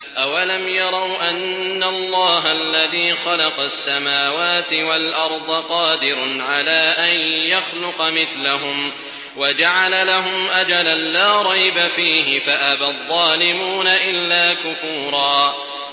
۞ أَوَلَمْ يَرَوْا أَنَّ اللَّهَ الَّذِي خَلَقَ السَّمَاوَاتِ وَالْأَرْضَ قَادِرٌ عَلَىٰ أَن يَخْلُقَ مِثْلَهُمْ وَجَعَلَ لَهُمْ أَجَلًا لَّا رَيْبَ فِيهِ فَأَبَى الظَّالِمُونَ إِلَّا كُفُورًا